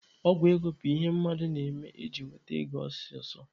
Ọgwụ ego bụ ihe mmadụ na-eme iji nweta ego ọsọsọ.